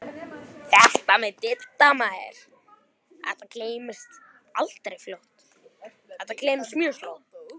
Þetta með Didda gleymdist líka fljótt.